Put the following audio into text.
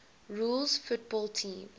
rules football teams